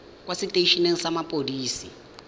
kwa setei eneng sa mapodisi